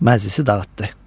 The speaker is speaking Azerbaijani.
Məclisi dağıtdı.